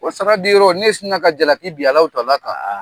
Ko sara di yɔrɔ n'e snina ka jalakkii bin a la o dama kan